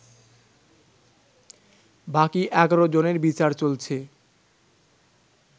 বাকি ১১ জনের বিচার চলছে